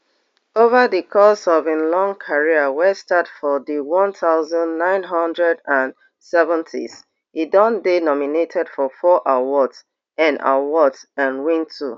ova di course of im long career wey start for di one thousand, nine hundred and seventies e don dey nominated for four awards and awards and win two